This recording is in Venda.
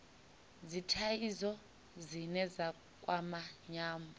dzithaidzo dzine dza kwama nyambo